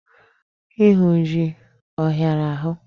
Ịhụ jị ọhịara ahụ?